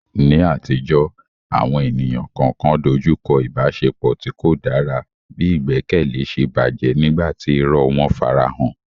Ní àtijọ́, àwọn ènìyàn kọ̀ọ̀kan dojú kọ ìbáṣepọ̀ tí kò dára bí ìgbẹ́kẹ̀lé ṣe bàjẹ́ nígbà tí irọ́ wọn farahàn.